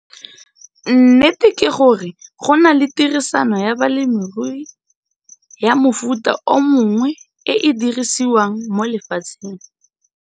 Nnete ke gore go na le tirisano ya bolemirui ya mofuta o mongwe e e dirisiwang mo lefatsheng.